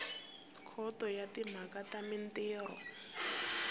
khoto ya timhaka ta mintirho